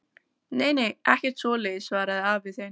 Nei nei, ekkert svoleiðis, svaraði afi þinn.